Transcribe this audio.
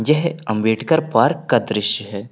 यह अंबेडकर पार्क का दृश्य है।